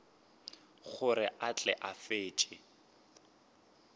gore a tle a fetše